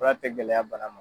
Fura tɛ gɛlɛya bana ma.